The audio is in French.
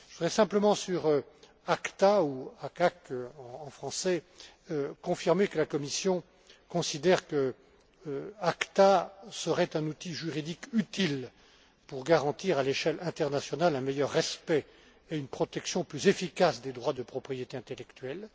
Je voudrais simplement, sur ACTA, ou ACAC en français, confirmer que la Commission considère qu'ACTA serait un outil juridique utile pour garantir à l'échelle internationale un meilleur respect et une protection plus efficace des droits de propriété intellectuelle.